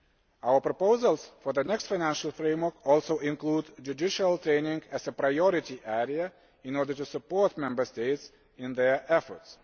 Our proposals for the next financial framework also include judicial training as a priority area in order to support Member States in their efforts.